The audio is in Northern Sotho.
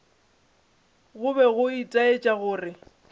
go be go itaetša gore